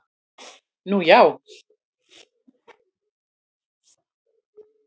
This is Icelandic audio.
Nú já?